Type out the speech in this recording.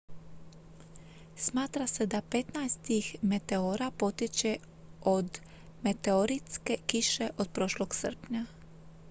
smatra se da petnaest tih meteora potječe od meteoritske kiše od prošlog srpnja